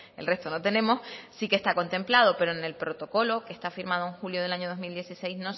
el resto no tenemos sí que está contemplado pero en el protocolo que está firmado en julio de dos mil dieciséis